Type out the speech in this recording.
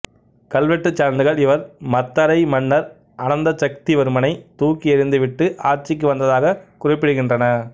கல்வெட்டு சான்றுகள் இவர் மத்தறை மன்னர் அனந்தசக்திவர்மனை தூக்கி எறிந்துவிட்டு ஆட்சிக்கு வந்ததாக குறிப்பிடுகின்றன